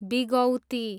बिगौती